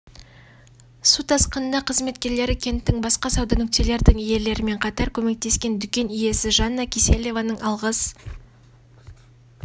су тасқыныңда қызметкерлері кенттің басқа сауда нүктелердің иелерімен қатар көмектескен дүкен иесі жанна киселеваның алғыс